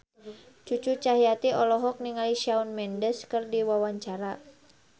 Cucu Cahyati olohok ningali Shawn Mendes keur diwawancara